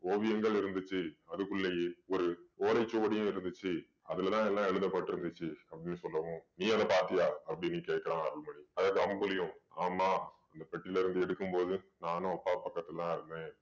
ஓவியங்கள் இருந்துச்சு. அதுக்குள்ளயே ஒரு ஓலைச்சுவடியும் இருந்துச்சு. அதுல தான் எல்லாம் எழுதபட்டிருந்துச்சு அப்படீன்னு சொல்லவும் நீ அதை பாத்தியா அப்படீன்னு கேட்டான் அருள்மொழி. அதாவது அம்புலியும் ஆமாம் அந்த பெட்டில இருந்து எடுக்கும் போது நானும் அப்பா பக்கத்துல தான் இருந்தேன்.